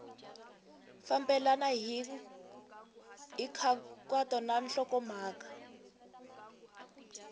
fambelena hi nkhaqato na nhlokomhaka